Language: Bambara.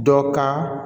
Dɔ ka